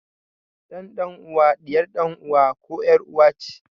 Ƴar dan uwa ɗiyar ɗan uwa koh ƴar uwa ce